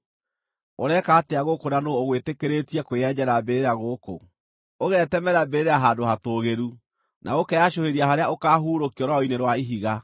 Ũreka atĩa gũkũ na nũũ ũgwĩtĩkĩrĩtie kwĩyenjera mbĩrĩra gũkũ, ũgetemera mbĩrĩra handũ hatũũgĩru, na ũkeyacũhĩria harĩa ũkaahurũkio rwaro-inĩ rwa ihiga?